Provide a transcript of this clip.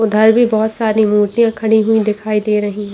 उधर भी बहुत सारी मुर्तियां खड़ी हुई दिखाई दे रही है।